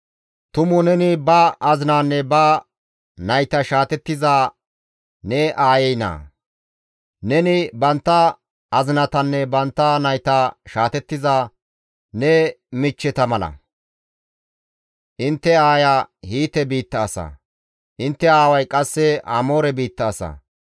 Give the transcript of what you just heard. Tumu neni ba azinaanne ba nayta shaatettiza ne aayey naa; neni bantta azinatanne bantta nayta shaatettiza ne michcheta mala. Intte aaya Hiite biitta asa; intte aaway qasse Amoore biitta asa.